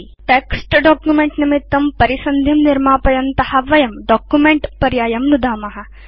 वयं text document निमित्तं परिसन्धिं निर्मापयन्त स्मअत वयं डॉक्युमेंट पर्यायं नुदाम